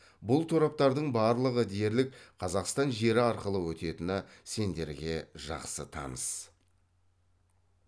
бұл тораптардың барлығы дерлік қазақстан жері арқылы өтетіні сендерге жақсы таныс